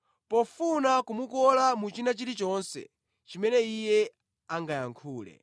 pofuna kumukola muchina chilichonse chimene Iye angayankhule.